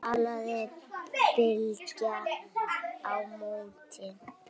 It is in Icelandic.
kallaði Bylgja á móti.